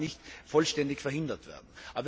Das kann nicht vollständig verhindert werden.